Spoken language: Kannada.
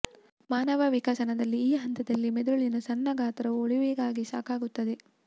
ಮಾನವ ವಿಕಸನದಲ್ಲಿ ಈ ಹಂತದಲ್ಲಿ ಮೆದುಳಿನ ಸಣ್ಣ ಗಾತ್ರವು ಉಳಿವಿಗಾಗಿ ಸಾಕಾಗುತ್ತದೆ